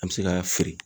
An bɛ se ka fili